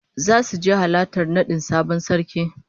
Zasu je halartar nadin sabon sarki